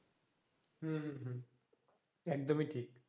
হম একদম ই ঠিক